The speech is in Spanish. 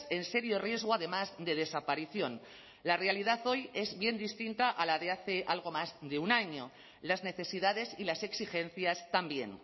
en serio riesgo además de desaparición la realidad hoy es bien distinta a la de hace algo más de un año las necesidades y las exigencias también